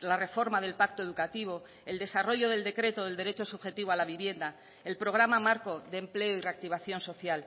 la reforma del pacto educativo el desarrollo del decreto del derecho subjetivo a la vivienda el programa marco de empleo y reactivación social